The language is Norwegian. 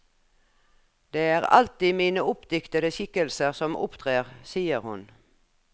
Det er alltid mine oppdiktede skikkelser som opptrer, sier hun.